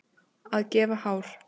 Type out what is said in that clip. Að gefa hár